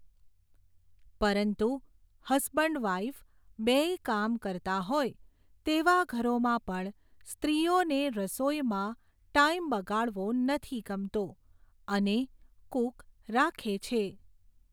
પરંતુ husband wife, બેય કામ કરતા હોય, તેવા ઘરોમાં પણ સ્ત્રીઓને રસોઈમાં ટાઈમ બગાડવો નથી ગમતો અને કૂક રાખે છે.